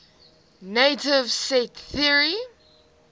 naive set theory